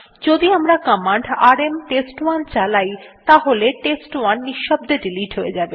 যদি আমরা command rm test one চালাই তাহলে টেস্ট1 নিঃশব্দে ডিলিট হয়ে যাবে